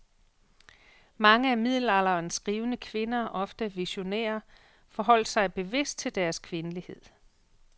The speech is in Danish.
Mange af middelalderens skrivende kvinder, ofte visionære, forholdt sig bevidst til deres kvindelighed.